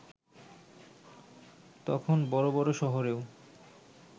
তখন বড় বড় শহরেও